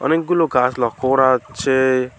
অনেকগুলো গাস লক্ষ করা যাচ্ছে।